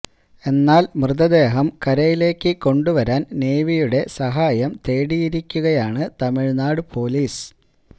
എന്നാല് മൃതദേഹം കരയിലേക്കു കൊണ്ടുവരാന് നേവിയുടെ സഹായം തേടിയിരിക്കുകയാണ് തമിഴ്നാട് പൊലീസ്